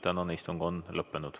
Tänane istung on lõppenud.